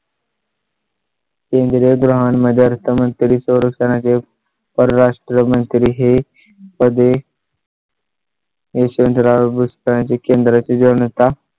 इंद्र गृहांमध्ये असता मंत्री तो रस्त्या चे परराष्ट्र मंत्री हे मध्ये . यशवंतराव पुस्तकांची केंद्रा चे जेवण होता.